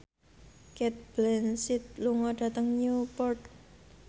Cate Blanchett lunga dhateng Newport